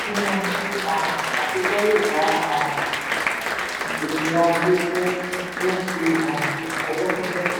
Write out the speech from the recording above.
sísun ọjọ́ níná owó um àtijọ́ le ba um ètò ajé jẹ ní ti um ọjọ́ pípẹ́.